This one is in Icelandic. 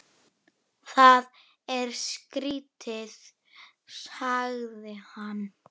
Systir mín er látin.